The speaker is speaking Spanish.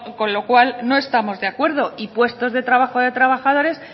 con lo cual no estamos de acuerdo y puestos de trabajo de trabajadores